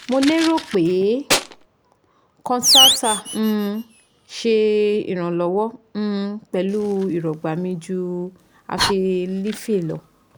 mo lero pe concerta um se Ìrànlọ́wọ́ um pẹ̀lú irọgba mi ju abilify lọ́